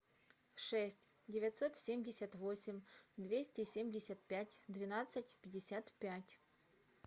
шесть девятьсот семьдесят восемь двести семьдесят пять двенадцать пятьдесят пять